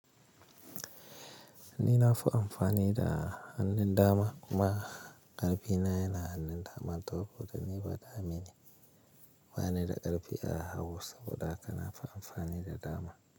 Ni na fi amfani da hannun dama kuma ƙarfi na yana hannun dama saboda ni badame ne. Ba ni da ƙarfi a hag saboda haka na fi amfani da dama.